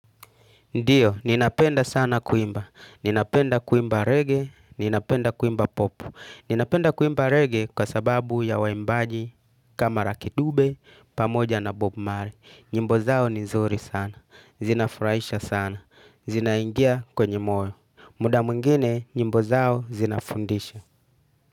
Ndiyo, ninapenda sana kuimba. Ninapenda kuimba reggae, ninapenda kuimba pop. Ninapenda kuimba reggae kwa sababu ya waimbaji kama lucky dube, pamoja na bob marley. Nyimbo zao ni nzuri sana. Zinafurahisha sana. Zinaingia kwenye moyo. Muda mwingine, nyimbo zao zinafundisha.